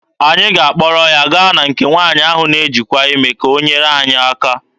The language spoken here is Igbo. Anyị ga-akpọrọ ya gaa na nke nwaanyị ahụ na-ejikwa ime ka o nyere anyị aka.